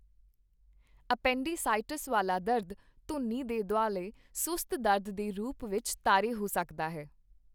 Appendicitis ਵਾਲਾ ਦਰਦ ਧੁੰਨੀ ਦੇ ਦੁਆਲੇ ਸੁਸਤ ਦਰਦ ਦੇ ਰੂਪ ਵਿੱਚ ਤਾਰੇ ਹੋ ਸਕਦਾ ਹੈ।